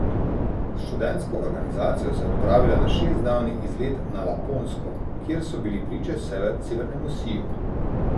S študentsko organizacijo se je odpravila na šestdnevni izlet na Laponsko, kjer so bili priče severnemu siju.